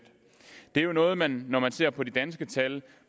når man når man ser på de danske tal